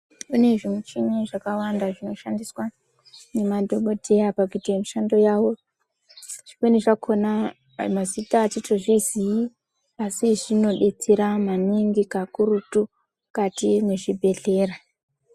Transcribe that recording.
Pane zvimuchini zvakawanda zvinoshandiswa ngemadhokodheya pakuita mishando yawo zvimweni zvakona mazita atitozviziyi asi zvinodetsera maningi kakurutu mukati mwezvibhedhlera.